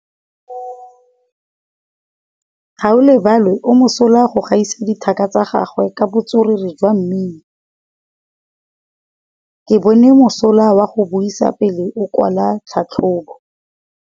Gaolebalwe o mosola go gaisa dithaka tsa gagwe ka botswerere jwa mmino. Ke bone mosola wa go buisa pele o kwala tlhatlhobô.